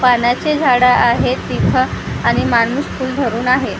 पानाचे झाडं आहेत तिथं आणि माणूस फुल घरुन आहे .